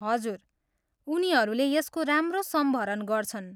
हजुर, उनीहरूले यसको राम्रो सम्भरण गर्छन्।